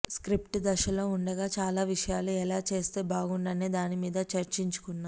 script దశలో ఉండగా చాలా విషయాలు ఎలా చేస్తే బాగుండు అనేదాని మీద చర్చించుకున్నాం